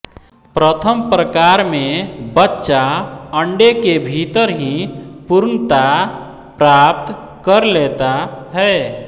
प्रथम प्रकार में बच्चा अंडे के भीतर ही पूर्णता प्राप्त कर लेता है